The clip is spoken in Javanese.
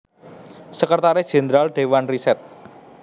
Sekretaris Jenderal Dewan Riset